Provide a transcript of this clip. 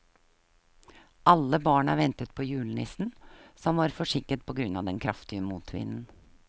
Alle barna ventet på julenissen, som var forsinket på grunn av den kraftige motvinden.